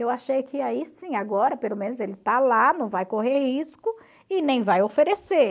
Eu achei que aí sim, agora pelo menos ele está lá, não vai correr risco e nem vai oferecer.